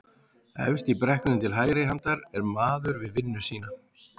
Efst í brekkunni til hægri handar er maður við vinnu sína